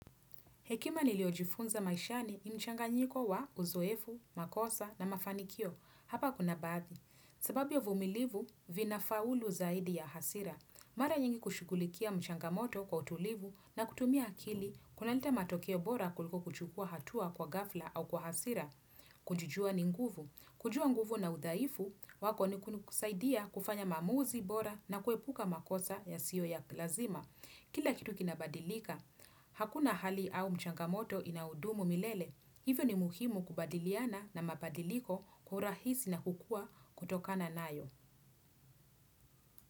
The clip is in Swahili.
Hekima niliyojifunza maishani ni mchanga nyiko wa uzoefu, makosa na mafanikio. Hapa kuna baadhi. Sababu ya uvumilivu vina faulu zaidi ya hasira. Mara nyingi kushukulikia mchanga moto kwa utulivu na kutumia akili kunaleta matokeo bora kuliko kuchukua hatua kwa ghafla au kwa hasira. Kujijua ninguvu. Kujua nguvu na udhaifu, wako nikunikusaidia kufanya maamuzi bora na kuepuka makosa ya siyo ya lazima. Kila kitu kinabadilika. Hakuna hali au mchangamoto inaudumu milele. Hivyo ni muhimu kubadiliana na mabadiliko kwa urahisi na kukua kutokana nayo.